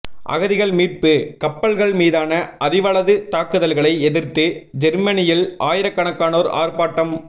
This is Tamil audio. அகதிகள் மீட்பு கப்பல்கள் மீதான அதிவலது தாக்குதல்களை எதிர்த்து ஜேர்மனியில் ஆயிரக்கணக்கானோர் ஆர்ப்பாட்டம்